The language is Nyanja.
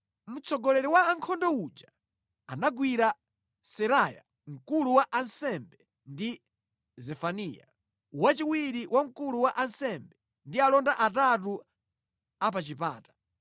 Mtsogoleri wa ankhondo uja, anagwira Seraya mkulu wa ansembe ndi Zefaniya, wachiwiri wa mkulu wa ansembe ndi alonda atatu apachipata.